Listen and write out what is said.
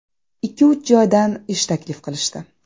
Ikki-uch joydan ish taklif qilishdi.